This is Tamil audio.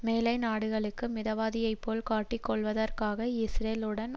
மேலை நாடுகளுக்கு மிதவாதியைப்போல் காட்டிக் கொள்வதற்காக இஸ்ரேல் உடன்